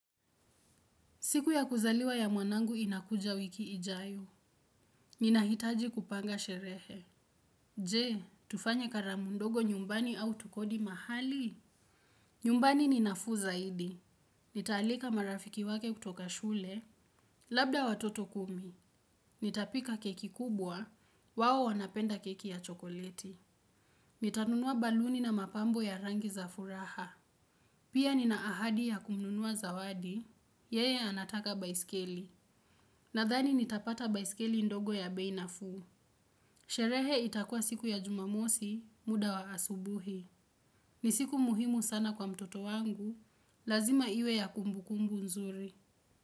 Siku ya kuzaliwa ya mwanangu inakuja wiki ijayo. Ninahitaji kupanga sherehe. Je, tufanye karamu ndogo nyumbani au tokodi mahali? Nyumbani ni nafuu zaidi. Nitaalika marafiki wake kutoka shule. Labda watoto kumi. Nitapika keki kubwa. Wao wanapenda keki ya chokoleti. Nitanunua baluni na mapambo ya rangi za furaha. Pia nina ahadi ya kununua zawadi. Yeye anataka baiskeli. Nadhani nitapata baisikeli ndogo ya bei nafuu. Sherehe itakuwa siku ya jumamosi muda wa asubuhi. Ni siku muhimu sana kwa mtoto wangu. Lazima iwe ya kumbukumbu nzuri.